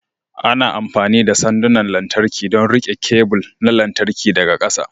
Ana amfani da sandunan lantarki don riƙe kebul na lantarki daga ƙasa.